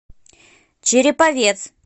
череповец